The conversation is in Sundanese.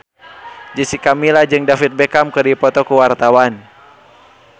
Jessica Milla jeung David Beckham keur dipoto ku wartawan